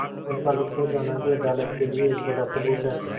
उनका लुप्त हो जाना भी अदालत के लिए एक बड़ा सबूत है